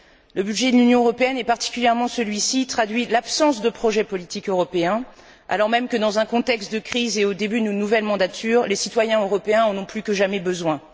Le budget de l'Union européenne, et particulièrement celui ci, traduit l'absence de projet politique européen alors même que, dans un contexte de crise et au début de nos nouvelles mandatures, les citoyens européens en ont plus que jamais besoin.